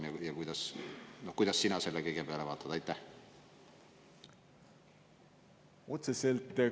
Ja kuidas sina selle kõige peale vaatad?